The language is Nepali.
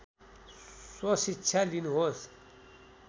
स्वशिक्षा लिनुहोस्